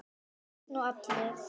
Börn og allir?